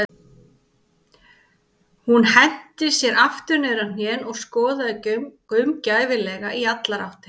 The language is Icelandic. Hann henti sér aftur niður á hnén og skoðaði gaumgæfilega í allar áttir.